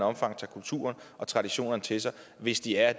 omfang tager kulturen og traditionerne til sig hvis de af